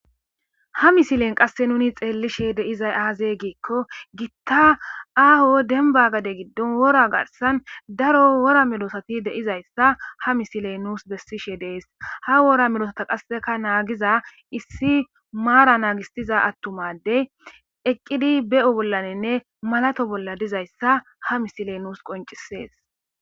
ha misilen qasse nuni xeellishe deizay aaze giikko gitta aaho denbagade giddon wora garsan daro wora melosati deizayssa ha misiley nuus bessishe dees ha wora melosata qasseka naagiza issi maara naagisiza attumadey eqqidi be7o bollaninne malato bolla dizayssa ha misiley nuus qoncisees